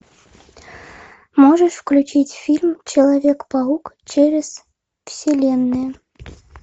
можешь включить фильм человек паук через вселенные